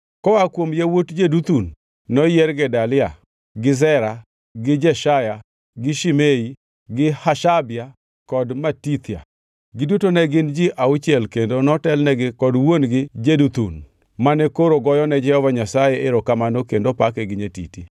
Koa kuom yawuot Jeduthun noyier: Gedalia gi Zeri gi Jeshaya gi Shimei gi Hashabia kod Matithia. Giduto ne gin ji auchiel kendo notelnegi kod wuon-gi Jeduthun mane koro ka goyone Jehova Nyasaye erokamano kendo pake gi nyatiti.